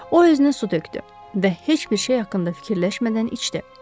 O özünə su tökdü və heç bir şey haqqında fikirləşmədən içdi.